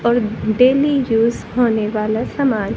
और daily use होने वाला सामान--